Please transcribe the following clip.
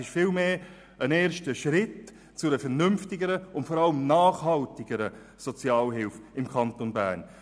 Es ist vielmehr ein erster Schritt zu einer vernünftigeren und vor allem nachhaltigeren Sozialhilfe im Kanton Bern.